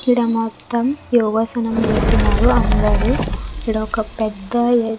ఇడా మొత్తం యోగ ఆసనం చేస్తున్నారు అందరూ ఇడా ఒక్క పెద్ద ఏ--